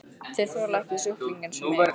Þeir þola ekki sjúklinga eins og mig.